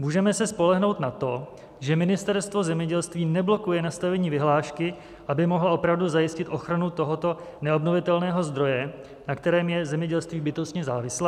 Můžeme se spolehnout na to, že Ministerstvo zemědělství neblokuje nastavení vyhlášky, aby mohlo opravdu zajistit ochranu tohoto neobnovitelného zdroje, na kterém je zemědělství bytostně závislé?